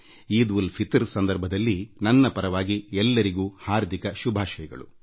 ಈದ್ ಉಲ್ ಫಿತರ್ ಸಂದರ್ಭದಲ್ಲಿ ಎಲ್ಲರಿಗೂ ಹಾರ್ದಿಕ ಶುಭಾಶಯಗಳು